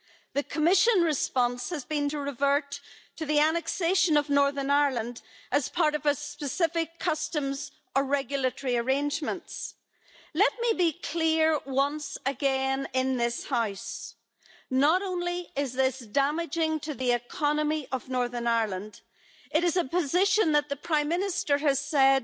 The Commission response has been to revert to the annexation of Northern Ireland as part of specific customs or regulatory arrangements. Let me be clear once again in this House not only is this damaging to the economy of Northern Ireland, it is a position that the Prime Minister has said